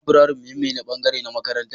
Laburare muhimmin bangare ne na makarantar